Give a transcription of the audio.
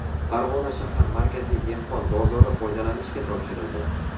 Farg‘ona shahar Markaziy dehqon bozori foydalanishga topshirildi.